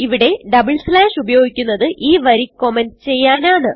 ഇവിടെ double slash ഉപയോഗിക്കുന്നത് ഈ വരി കമന്റ് ചെയ്യാനാണ്